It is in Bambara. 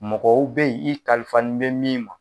Mɔgɔw bɛ yen i kalifa nin bɛ min ma,